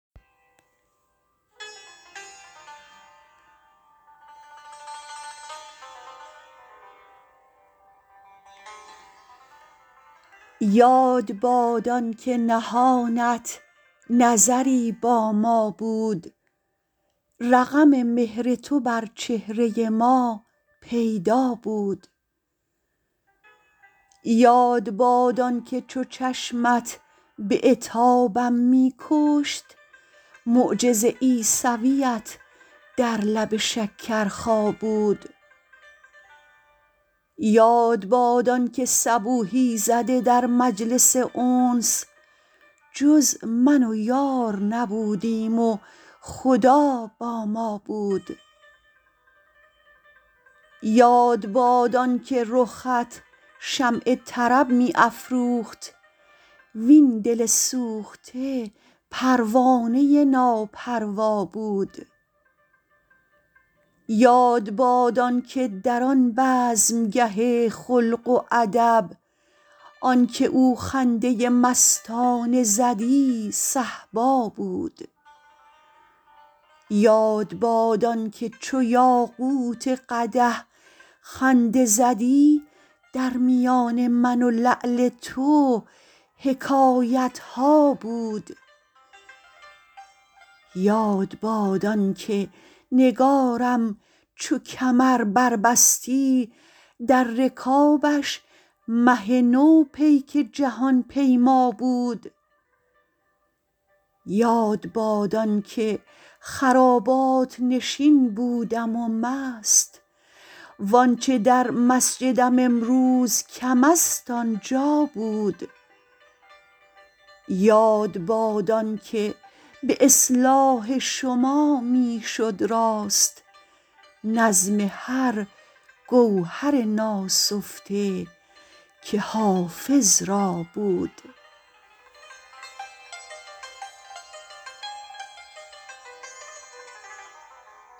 یاد باد آن که نهانت نظری با ما بود رقم مهر تو بر چهره ما پیدا بود یاد باد آن که چو چشمت به عتابم می کشت معجز عیسویت در لب شکرخا بود یاد باد آن که صبوحی زده در مجلس انس جز من و یار نبودیم و خدا با ما بود یاد باد آن که رخت شمع طرب می افروخت وین دل سوخته پروانه ناپروا بود یاد باد آن که در آن بزمگه خلق و ادب آن که او خنده مستانه زدی صهبا بود یاد باد آن که چو یاقوت قدح خنده زدی در میان من و لعل تو حکایت ها بود یاد باد آن که نگارم چو کمر بربستی در رکابش مه نو پیک جهان پیما بود یاد باد آن که خرابات نشین بودم و مست وآنچه در مسجدم امروز کم است آنجا بود یاد باد آن که به اصلاح شما می شد راست نظم هر گوهر ناسفته که حافظ را بود